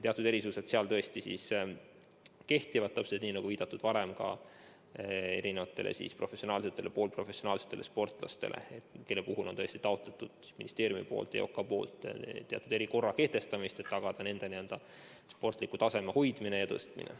Teatud erisused seal tõesti kehtivad, täpselt nagu ka varem viidatud professionaalsetele ja poolprofessionaalsetele sportlastele, kelle puhul on ministeerium ja EOK taotlenud teatud erikorra kehtestamist, et tagada nende sportliku taseme hoidmine ja tõstmine.